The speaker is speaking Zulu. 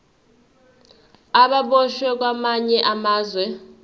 ababoshwe kwamanye amazwe